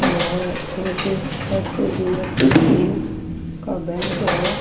यह एक एच_डी_एफ_सी का बैंक है।